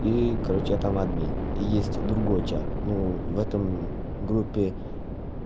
и короче я там админ и есть другой чат ну в этом группе